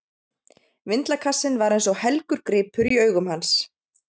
Vindlakassinn var eins og helgur gripur í augum hans.